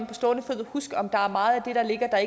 på stående fod kan huske om der er meget af det der ligger der